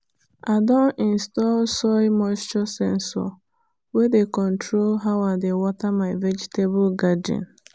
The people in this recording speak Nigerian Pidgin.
i don install soil moisture sensor wey dey control how i dey water my vegetable garden.